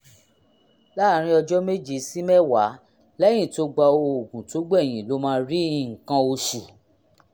láàárín ọjọ́ méje sí mẹ́wàá lẹ́yìn tó gba òògùn tó gbẹ̀yìn ló máa rí nǹkan oṣù